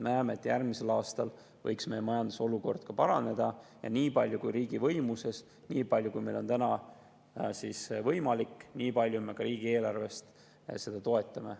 Me näeme, et järgmisel aastal võib meie majanduse olukord paraneda, ja nii palju kui on riigi võimuses, nii palju kui meil on täna võimalik, nii palju me ka riigieelarvest seda toetame.